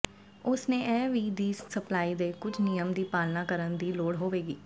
ਉਸ ਨੇ ਇਹ ਵੀ ਦੀ ਸਪਲਾਈ ਦੇ ਕੁਝ ਨਿਯਮ ਦੀ ਪਾਲਣਾ ਕਰਨ ਦੀ ਲੋੜ ਹੋਵੇਗੀ